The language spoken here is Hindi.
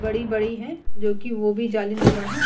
बड़ी बड़ी है जो की वो भी जालीनुमा है।